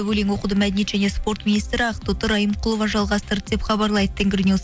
өлең оқуды мәдениет және спорт министрі ақтоты райымқұлова жалғастырды деп хабарлайды тенгринюс